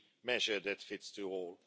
measure that fits all.